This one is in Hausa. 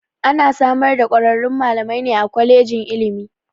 Ana samar da kwararrun malamai ne a kwalejin ilimi.